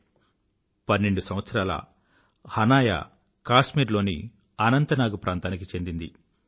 12 సంవత్సరాల హనాయా కాశ్మీర్ లోని అనంత్ నాగ్ ప్రాంతానికి చెందింది